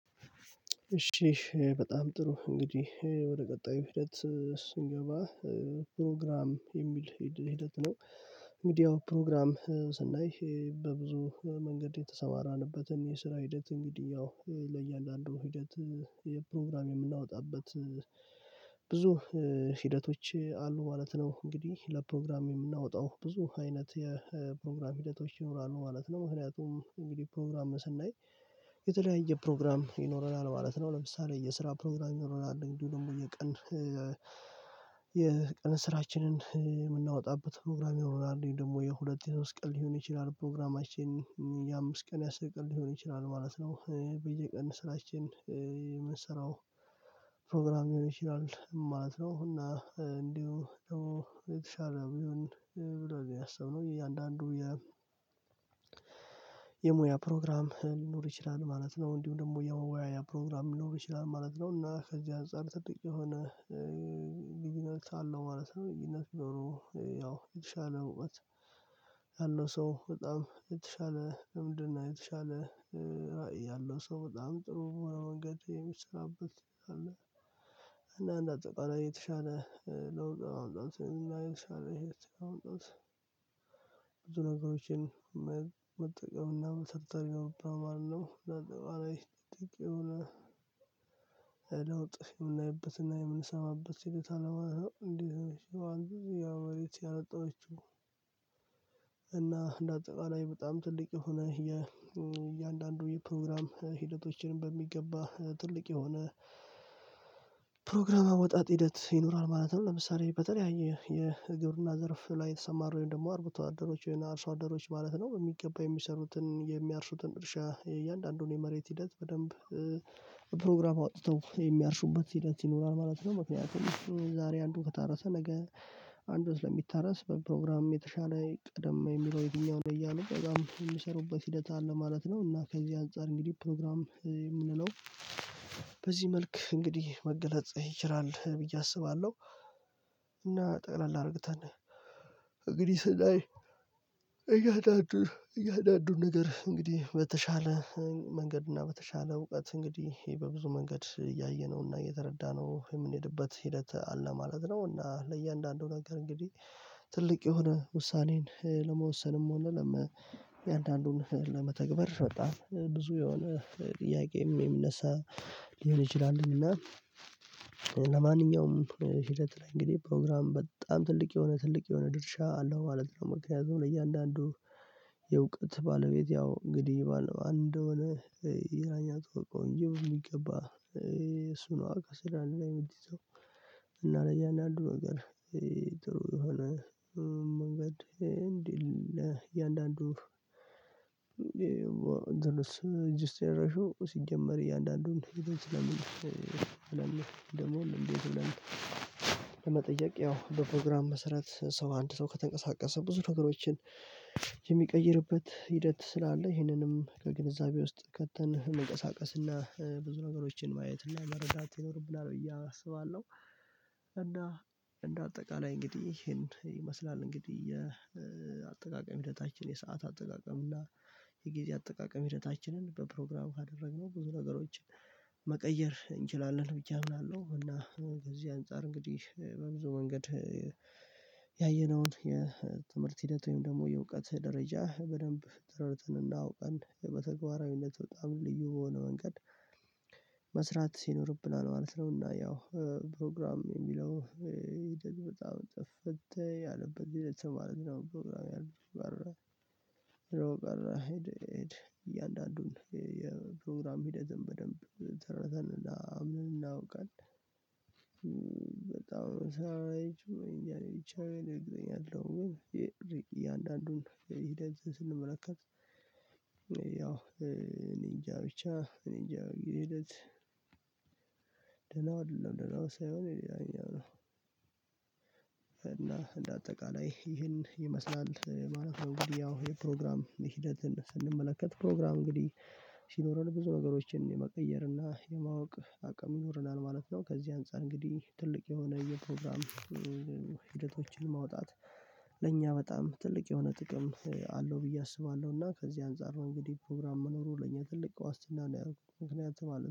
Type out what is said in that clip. እሺ በጣም ጥሩ እንግዲህ ወደ ቀጣዩ ሂደት ስንገባ፤ ፕሮግራም የሚል ሂደት ነው ሚዲያው ፕሮግራም ስናይ በብዙ መንገድ የተሰማራንበትን የስራ ሂደት እንግዲህ ያው ለእያንዳንዱ ሂደት የፕሮግራም የምናወጣበት ብዙ ሂደቶች አሉ ማለት ነው እንግዲህ ለፕሮግራም የምናወጣው ብዙ አይነት የፕሮግራም ሂደቶች ይኖራሉ ማለት ነው። ምክንያቱም እንግዲህ ፕሮግራም ስናይ የተለያየ ፕሮግራም ይኖረናል ማለት ነው። ለምሳሌ የስራ ፕሮግራም ይኖረናል። እንዲሁ የቀን የቀን ስራችንን የምናወጣበት ፕሮግራም ይኖራል። ደግሞ የሁለት የሶስት ቀን ሊሆን ይችላል ፕሮግራማችን የአምስት ቀን ያሰቀል ሊሆን ይችላል ማለት ነው በየቀን ስራችን፤ የምንሰራው ፕሮግራም ሊሆን ይችላል ማለት ነው። እና እንዲሁ ደግሞ የተሻለ ቢሆን ብለን ነው ያሰብነው እያንዳንዱ የሙያ ፕሮግራም ሊኖር ይችላል ማለት ነው፤ እንዲሁ ደግሞ የሙያ የሙያ ፕሮግራም ሊኖር ይችላል ማለት ነው፤ እና ከዚህ አንፃር ጥብቅ የሆነ ልዩነት አለው ማለት ነው ብይነት ቢኖሩ ያው የተሻለ እውነት ያለው ሰው በጣም የተሻለ እምድና የተሻለ ራዕይ ያለው ሰው በጣም ጥሩ መንገድ የሚሰራበት እና እንደ አጠቃላይ የተሻለ ለውጥ ለማምጣት ብዙ ነገሮችን መጠቀም እና መሰረተኛው ብራውንድ አለው ለአጠቃላይ አይደለም አይደለም የምናይበትና የምንሰማበት ሂደት አለ ማለት ነው። እንዴ እንደዚህ አንድ ጊዜ ያው በሬት ያለጠነችው እና እንደ አጠቃላይ በጣም ትልቅ የሆነ፤ የእያንዳንዱ የፕሮግራም ሂደቶችንም በሚገባ ትልቅ የሆነ ፕሮግራም አወጣጥ ሂደት ይኖራል ማለት ነው። ለምሳሌ በጣም የግብርና ዘርፍ ላይ የተሰማሩ ወይም ደግሞ አርብቶ አደረች ወይም አርሶ አደሮች ማለት ነው የሚገባ የሚሰሩትን እርሻ የእያንዳንዱን የመሬት ሂደት በደንብ ፕሮግራም አውጥተው የሚያርሱበት ሂደት ይኖራል ማለት ነው። ምክንያቱም ዛሬ አንዱ ከታረሰ ነገ አንዱ ስለሚታረስ በፕሮግራም የተሻለ ቀደም የሚለው የትኛውን እያለ በዛም የሚሰሩበት ሂደት አለ ማለት ነው እና ከዚህ አንፃር እንግዲህ ፕሮግራም የምንለው በዚህ መልክ እንግዲህ መገለጽ ይችላል ብዬ አስባለሁ እና ጠቅለል አድርገን እግዲህ ስናኝ እያንዳዱ እያንዳዱ ነገር እንግዲህ በተሻለ መንገድ እና በተሻለ እውቀት እንግዲህ በብዙ መንገድ እያየነውና እየተረዳነው የምንሄድበት ሂደት አለ ማለት ነው እና ለእያንዳንዱ ነገር እንግዲህ ትልቅ የሆነ ውሳኔን ለመወሰንም ሆነ ለመ እያንዳንድን ለመተግበር በጣም ብዙ የሆነ ጥያቄም የሚነሳ ሊሆን ይችላልን እና ለማንኛውም ሂደት ላይ እንግዲህ ፕሮግራም በጣም ትልቅ የሆነ ትልቅ የሆነ ድርሻ አለው ማለት ነው። ምክንኛቱም ለእያንዳንዱ የእውቀት ባለቤት ያው እንግዲህ ይባል ነው አንድ እንደሆነ ይላኛው ተቆይቆይ የሚገባ እሱ ነው አቀስ የለም እና ለያንዳንዱ ነገር ጥሩ የሆነ መንገድ እንዴ ለያአንዳንዱ እንደርስ ሲጀመር እያንዳንዱን ስለምን እንደምን ደግሞ እንዴት ብለን ለመጠየቅ ያው በፕሮግራም መሰረት ሰው አንድ ሰው ከተንቀሳቀሰ ብዙ ነገሮችን የሚቀይርበት ሂደት ስላለ ይህንንም ከግንዛቤ ውስጥ ከተን እንቀሳቀስና ብዙ ነገሮችን ማየትና መረዳት ይኖርብናል ብዬ አስባለሁ። እና እንደ አጠቃላይ እንግዲህ ይሄን ይመስላል እንግዲህ የአጠቃቀም ሂደታችን የሰዓት አጠቃቀም እና የጊዜ አጠቃቀም ሂደታችንን በፕሮግራሙ ካደረግነው፤ ብዙ ነገሮችን መቀየር እንችላለን። ብቻ እምናለሁ እና ከዚህ አንፃር እንግዲህ በብዙ መንገድ ያየነውን የትምህርት ሂደት ወይም ደግሞ የእውቀት ደረጃ በደንብ ተረድተን እና አውቀን በተግባራዊነት፣ በጣም ልዩ የሆነ መንገድ መስራት ይኖርብናል ማለት ነውና ያው ፕሮግራም የሚለው በጣም ጠፈተኝ አለበት ለተማረኝ ነው ፕሮግራም ያለበት በር እያንዳንዱን የፕሮግራም ሂደትን በደንብ ተረድተን እና ምን አውቀን በጣም ሰማይ ጭምር ይቺን እንደገና እኛ አለው ግን እያንዳንዱን ሂድ አዘዘ ስንመለከት ያው እኔ እንጃ ብቻ እኔ እንጃ የሂደት ደህና አይደለም ደህና ሳይሆን ይላል እና እንደ አጠቃላይ ይህን ይመስላል ማለት ነው። እንግዲህ ያው ይህን ፕሮግራም ሂደትን ስንመለከት ፕሮግራም እንግዲህ ሲኖረን ብዙ ነገሮችን የመቀየር እና የማወቅ አቅም ይኖረናል ማለት ነው። ከዚህ አንፃር እንግዲህ ትልቅ የሆነ የፕሮግራም ሂደቶችን ማውጣት ለእኛ በጣም ትልቅ የሆነ ጥቅም አለው ብዬ አስባለሁ። እና ከዚህ አንፃር ነው እንግዲህ ፕሮግራም መኖሩ ለኛ ትልቅ ዋስትና ነው ያደረኩት ምክንያቱም አለ።